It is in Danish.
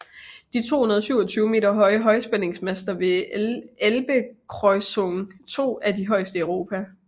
De 227 meter høje højspændingsmaster ved Elbekreuzung 2 er de højeste i Europa